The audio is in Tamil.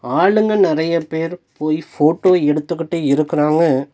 ஆளுங்க நறைய பேர் போய் ஃபோட்டோ எடுத்துகுட்டு இருக்குறாங்க.